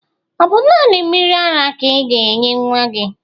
Ọ bụ naanị mmiri ara ka ị ga-enye nnwa gị?